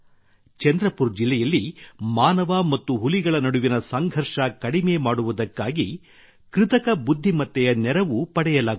ಚಂದ್ರಪುರ್ ಜಿಲ್ಲೆಯಲ್ಲಿ ಮಾನವ ಮತ್ತು ಹುಲಿಗಳ ನಡುವಿನ ಸಂಘರ್ಷ ಕಡಿಮೆ ಮಾಡುವುದಕ್ಕಾಗಿ ಕೃತಕ ಬುದ್ಧಿಮತ್ತೆಯ ನೆರವು ಪಡೆಯಲಾಗುತ್ತಿದೆ